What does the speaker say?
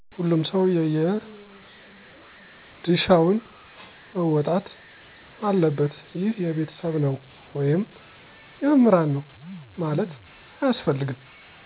ሁሉም ሰዉ የየድሻውን መወጣት አለበት ይህ የቤተሰብ ነው ወይም የመምህራን ነው ማለት አያስፈልገም።